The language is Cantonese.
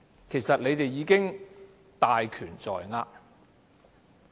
其實，你們已經大權在握。